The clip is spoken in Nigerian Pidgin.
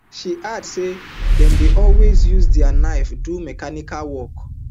she add say dem dey also use di knife do mechanical work